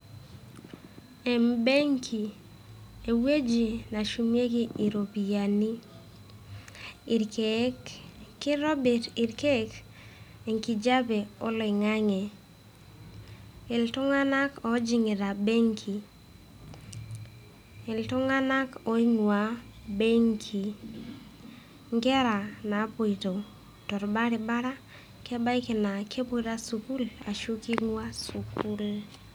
Embenki, ewueji neshumieki iropiyiani, irkeek kitobirr irkeek enkijape oloing'ang'e . Iltung'anak oojing'ita benki. Iltung'anak oing'uaa ebenki, inkerra naapoito torbaribara kebaiki naa kepoito sukuul ashu king'uaa sukuul.